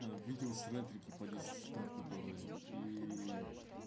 аа видео с ретрики по десять секунд которые и